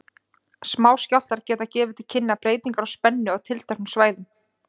Smáskjálftar geta gefið til kynna breytingar á spennu á tilteknum svæðum.